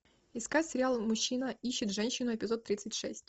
искать сериал мужчина ищет женщину эпизод тридцать шесть